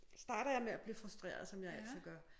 Starter jeg med at blive frustreret som jeg altid gør